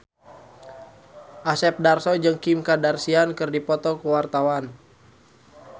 Asep Darso jeung Kim Kardashian keur dipoto ku wartawan